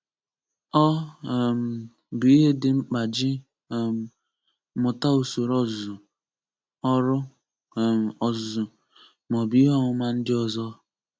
Ọ um bụ ihe dị mkpàjị um mụtausoro ọzụzụ, ọrụ um ọzụzụ, ma ọ bụ ihe ọmụma ndị ọzọ.